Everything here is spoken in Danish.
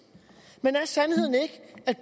men er sandheden ikke at